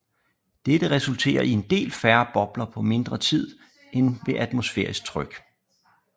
Dette resulterer i en del færre bobler på mindre tid end ved atmosfærisk tryk